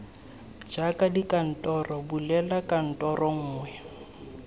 jaaka dikantoro bulela kantoro nngwe